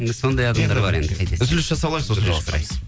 енді сондай адамдар бар енді қайтесің үзіліс жасап алайық